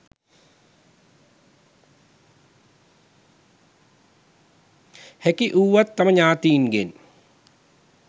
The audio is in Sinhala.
හැකි වුවත් තම ඥාතීන්ගෙන්